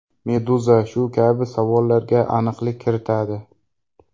Meduza shu kabi savollarga aniqlik kiritadi .